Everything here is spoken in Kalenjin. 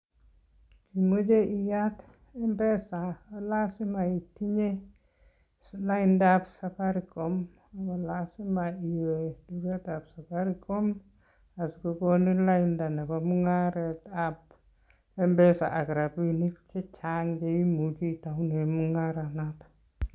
Ngot imoche iyaat mpesa konyolu itindoi laindab safaricom, amun lasima iwe tugetab safaricom asikokonin lainda Nebo mungaretab mpesa ak rabinik chechang cheimuche itounen mungaret noton